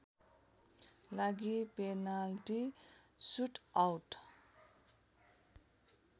लागि penalty shootout